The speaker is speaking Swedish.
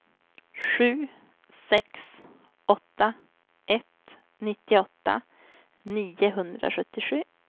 sju sex åtta ett nittioåtta niohundrasjuttiosju